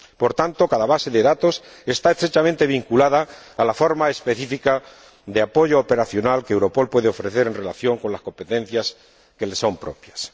Por tanto, cada base de datos está estrechamente vinculada a la forma específica de apoyo operacional que Europol puede ofrecer en relación con las competencias que le son propias.